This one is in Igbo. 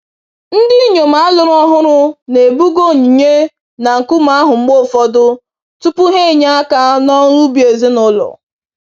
Ndinyom alụrụ ọhụrụ na-ebuga onyinye na nkume ahụ mgbe ụfọdụ, tupu ha enye aka n'ọrụ ubi ezinụlọ.